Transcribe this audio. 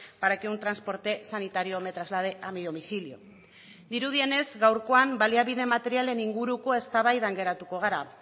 para que un transporte sanitario me traslade a mi domicilio dirudienez gaurkoan baliabide materialen inguruko eztabaidan geratuko gara